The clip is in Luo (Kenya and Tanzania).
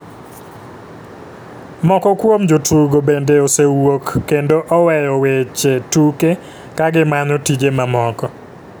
Moko kuom jotugo bende osewuok kendo oweyo weche tuke ka gimanyo tije mamoko.